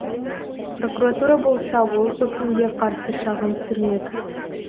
прокуратура болса бұл үкімге қарсы шағым түсірмек